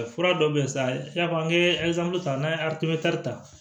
Fura dɔ bɛ yen sa i n'a fɔ n ye ta n'an ye ta